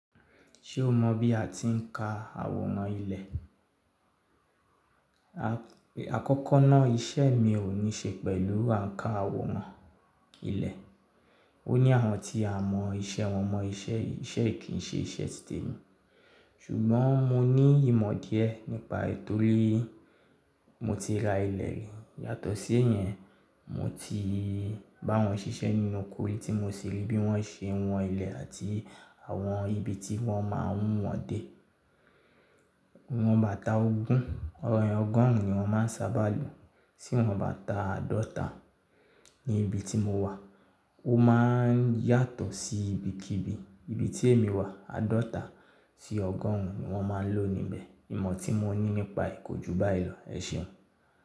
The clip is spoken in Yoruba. Ṣé o mọ bí a ti ń ka àwòrán ilẹ̀? Àkọ́kọ́ náà iṣẹ́ mi ò ní ṣe pẹ̀lú àǹkà àwòrán ilẹ̀. O ní àwọn tí a mọ iṣẹ́ wọn mọ iṣẹ́ yìí kì ń ṣe iṣẹ́ títẹ́ mi. Ṣùgbọ́n mo ní ìmọ̀ díẹ̀ nípa è tòrii. Mo ti ra ilẹ̀ rí. Yàtọ̀ sí ìyẹn, mo ti bá wọn ṣiṣẹ́ nínú ókó ri tí mo sì rí bí wọ́n ṣe wọn ilẹ̀ àti àwọn ibi tí wọ́n máa ń wọ̀n dé. Wọn bà ta ogún, ọrẹ ọgọ́rùn-ún ni wọ́n máa ń sábà lò. Tí wọ́n bá ta àádọ́ta ní ibi tí mo wà, ó máa ń yàtọ̀ sí ibi kí ibi. Ibi tí èmi wà, àádọ́ta sí ọgọ́rùn-ún ni wọ́n máa ń lò níbẹ̀. Ìmọ̀ tí mo ní nípa kójú bá ìlò, ẹ̀ ṣeun.